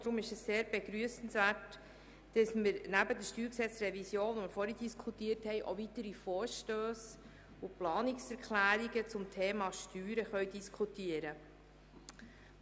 Deshalb ist es sehr begrüssenswert, dass wir neben der StGRevision, die wir vorhin diskutiert haben, auch weitere Vorstösse und Planungserklärungen zum Thema Steuern diskutieren können.